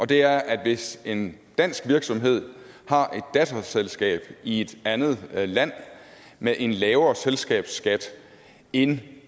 det er at hvis en dansk virksomhed har et datterselskab i et andet land med en lavere selskabsskat end